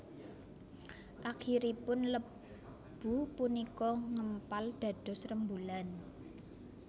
Akhiripun lebu punika ngempal dados rembulan